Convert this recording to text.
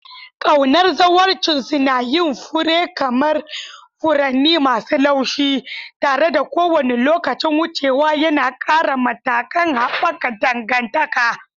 Ƙaunar zawarcinsu na yin fure kamar furanni masu laushi, tare da kowane lokacin wucewa yana ƙara matakan haɓaka dangantaka.